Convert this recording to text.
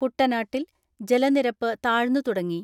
കുട്ടനാട്ടിൽ ജലനിരപ്പ് താഴ്ന്നുതുടങ്ങി.